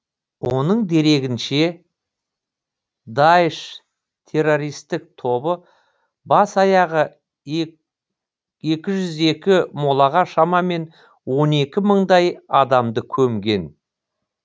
оның дерегінше даиш террористік тобы бас аяғы екі жүз екі молаға шамамен он екі мыңдай адамды көмген